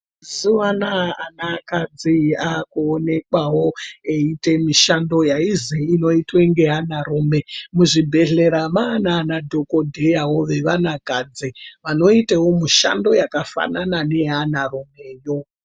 Mazuva anawa ana kadzi akuonekwawo eita mishando yainzi inoitwa nevana rume Muzvibhedhlera manana dhokodheya wevana kadzi vanoitawo mishando wekuti wakafana wevana rumewo.